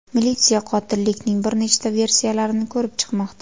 Militsiya qotillikning bir nechta versiylarini ko‘rib chiqmoqda.